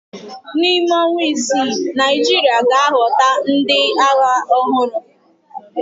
N'ime ọnwa isii, Naịjirịa ga-ahọpụta ndị agha ọhụrụ.